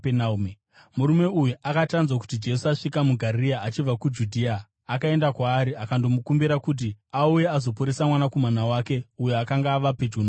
Murume uyu akati anzwa kuti Jesu asvika muGarirea achibva kuJudhea, akaenda kwaari akandomukumbira kuti auye azoporesa mwanakomana wake, uyo akanga ava pedyo nokufa.